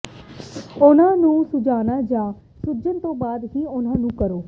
ਉਹਨਾਂ ਨੂੰ ਸੁੱਜਣਾ ਜਾਂ ਸੁੱਜਣ ਤੋਂ ਬਾਅਦ ਹੀ ਉਹਨਾਂ ਨੂੰ ਕਰੋ